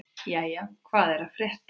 Jæja, hvað er að frétta?